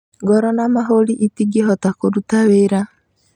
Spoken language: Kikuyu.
Ngoro na mahũri itingĩhota kũruta wĩra.